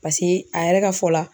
Pase a yɛrɛ ka fɔ la